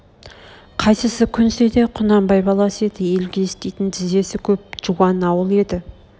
қайсысы көнсе де құнанбай баласы еді елге істейтін тізесі көп жуан ауыл еді